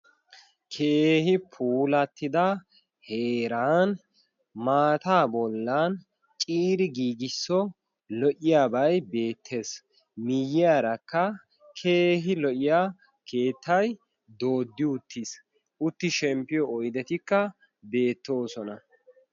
keehi pulattida heeran maataa bollan ciiri giigisso lo''iyaabay beettees miyyiyaarakka keehi lo''iya keettay dooddi uttiis utti shemppiyo oydetikka beettoosona